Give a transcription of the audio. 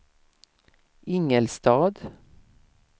Ingelstad